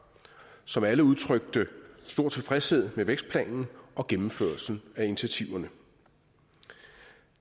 som alle udtrykte stor tilfredshed med vækstplanen og gennemførelsen af initiativerne